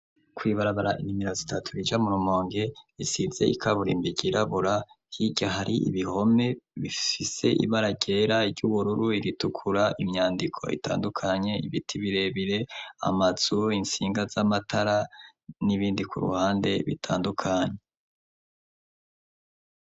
Kw'ibarabara nimero zitatu rija mu rumonge isize ikaburimbo ryirabura, hirya hari ibihome bifise ibara ryera, iry'ubururu, iritukura, imyandiko itandukanye, ibiti birebire, amazu, intsinga z'amatara n'ibindi ku ruhande bitandukanye.